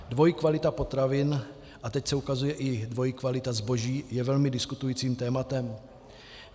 Dvojí kvalita potravin, a teď se ukazuje i dvojí kvalita zboží, je velmi diskutujícím tématem.